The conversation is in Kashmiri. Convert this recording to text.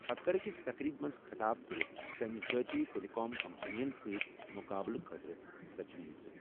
پتہٕ کٔر أکِس تقریٖبہِ منٛز خطاب کٔرِتھ تٔمۍ ذٲتی ٹیلی کام کمپنیَن سۭتۍ مُقابلہٕ خٲطرٕ تجویٖز۔